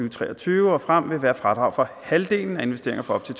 og tre og tyve og frem vil være fradrag for halvdelen af investeringer for op til